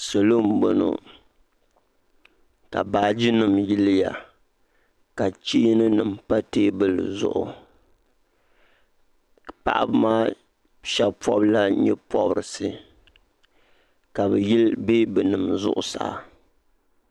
Salo n bɔŋɔ ka baaji nima yili ya ka chɛani nima pa tɛɛbuli zuɣu paɣaba maa shɛba pɔbi la yɛɛ pɔbirisi ka bi yili bɛabi nima zuɣusaa.